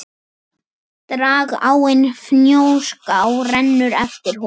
Dragáin Fnjóská rennur eftir honum.